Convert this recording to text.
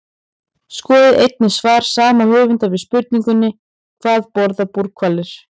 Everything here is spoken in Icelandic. Skoðið einnig svar sama höfundur við spurningunni Hvað borða búrhvalir?